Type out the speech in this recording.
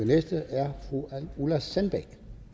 næste er fru ulla sandbæk